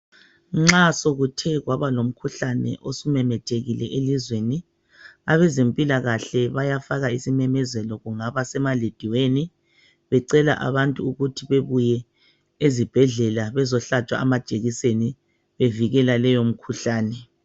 Nxa sokuthe kwabalomkhuhlane osumemethekile elizweni abezempilkahle bayaka isimemezelo, kungaba semalediyweni becela abantu ukuthi babuye ezibhedlela bazohlatshwa amajekiseni bevikela leyo mikhuhlane.